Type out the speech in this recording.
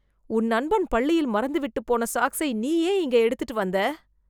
உன் நண்பன் பள்ளியில் மறந்து விட்டுப் போன சாக்ஸை, நீ ஏன் இங்க எடுத்துட்டு வந்தே...